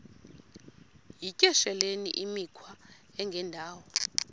yityesheleni imikhwa engendawo